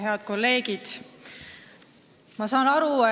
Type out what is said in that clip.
Head kolleegid!